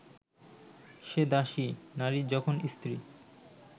সে দাসী, নারী যখন স্ত্রী